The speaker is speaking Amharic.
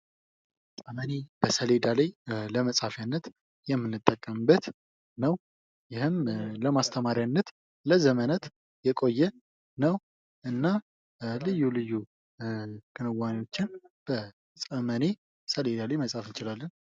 ጠመኔ በሰሌዳ ላይ ለመጻፍ የምንጠቀምበት ነው። ይህም ለማስተማሪያነት ለዘመናት የቆየ ነው እና ልዩ ልዩ ክንዋኔዎችን በጠመኔ ሰሌዳ ላይ መጻፍ እንችላለን።